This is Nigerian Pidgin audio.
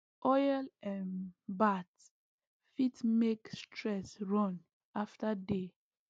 oil um bath fit make stress run after day